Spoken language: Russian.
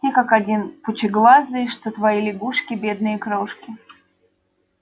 все как один пучеглазые что твои лягушки бедные крошки